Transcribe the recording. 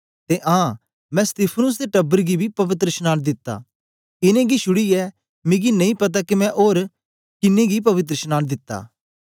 ते आं मैं स्तिफनुस दे टब्बर गी बी पवित्रशनांन दिता इनेंगी छुड़ीयै मिकी नेई पता के मैं ओर कुसे गी पवित्रशनांन दिता